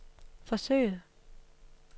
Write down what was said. forsøget